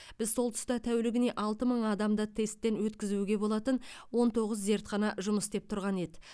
біз сол тұста тәулігіне алты мың адамды тесттен өткізуге болатын он тоғыз зертхана жұмыс істеп тұрған еді